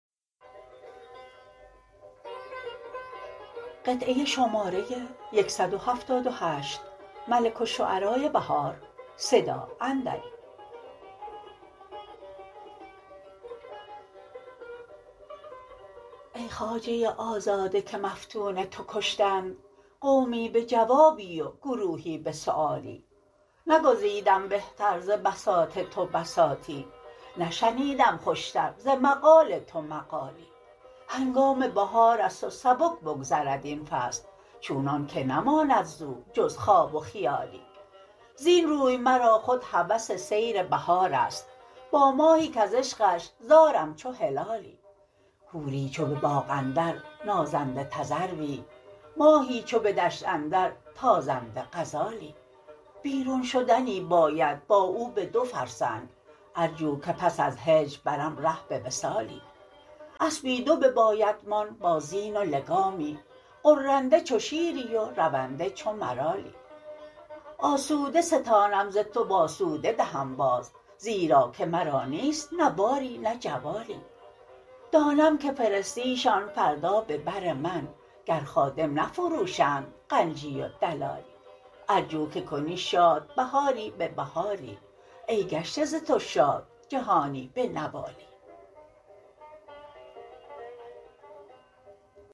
ای خواجه آزاده که مفتون توکشتند قومی به جوابی و گروهی به سیوالی نگزیدم بهتر ز بساط تو بساطی نشنیدم خوش تر ز مقال تو مقالی هنکام بهار است و سبک بکذد این فصل چونان که نماند زو جز خواب و خیالی زین روی مرا خود هوس سیر بهار است با ماهی کز عشقش زارم چو هلالی حوری چو به باغ اندر نازنده تذروی ماهی چو به دشت اندر تازنده غزالی بیرون شدنی باید با او به دو فرسنگ ارجو که پس از هجر برم ره به وصالی اسبی دو ببایدمان با زین و لگامی غرنده چو شیری و رونده چو مرالی آسوده ستانم ز تو و آسوده دهم باز زبراکه مرا نیست نه باری نه جوالی دانم که فرستی شان فردا به بر من گر خادم نفروشند غنجی و دلالی ارجو که کنی شاد بهاری به بهاری ای گشته ز تو شاد جهانی به نوالی